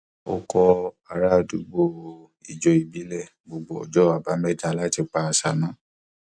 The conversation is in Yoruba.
ó kọ ará àdúgbò ijó ìbílẹ gbogbo ọjọ àbámẹta láti pa àṣà mọ